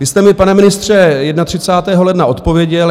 Vy jste mi, pane ministře, 31. ledna odpověděl.